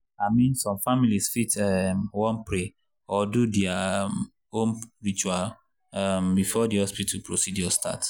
i mean some families fit um wan pray or do their um own ritual um before the hospital procedure start.